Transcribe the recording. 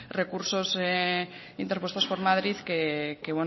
recursos interpuestos por madrid que